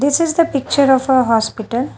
This the picture of hospital.